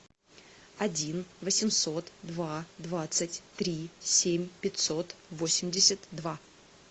один восемьсот два двадцать три семь пятьсот восемьдесят два